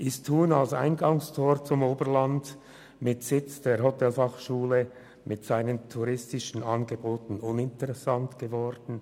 Ist Thun als Eingangstor zum Oberland mit Sitz der Hotelfachschule, mit seinen touristischen Angeboten uninteressant geworden?